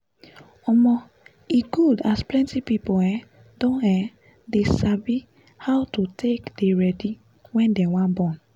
omo e good as plenty people um don um de sabi how to take ready wen dem wan born